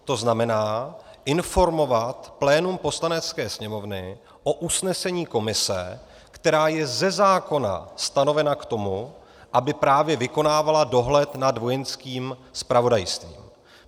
To znamená, informovat plénum Poslanecké sněmovny o usnesení komise, která je ze zákona stanovena k tomu, aby právě vykonávala dohled nad Vojenským zpravodajstvím.